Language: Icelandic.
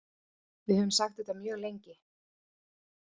Við höfum sagt þetta mjög lengi